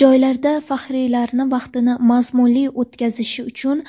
Joylarda faxriylarning vaqtini mazmunli o‘tkazishi uchun